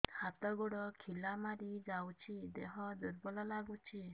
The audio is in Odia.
ହାତ ଗୋଡ ଖିଲା ମାରିଯାଉଛି ଦେହ ଦୁର୍ବଳ ଲାଗୁଚି